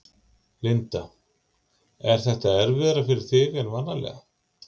Linda: Er þetta erfiðara fyrir þig en vanalega?